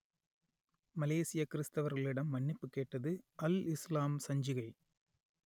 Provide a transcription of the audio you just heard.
மலேசியக் கிறித்தவர்களிடம் மன்னிப்புக் கேட்டது அல் இசுலாம் சஞ்சிகை